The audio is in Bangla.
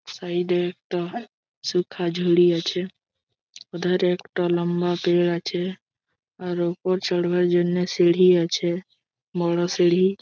সাইড এ একটা সুখা ঝুড়ি আছে। উধারে একটা লম্বা পের আছে। আর ওপর চড়বার জন্য সিঁড়ি আছে। বড়ো সিঁড়হি।